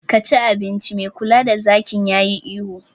Ka ci abinci! mai kula da zakin yayi ihu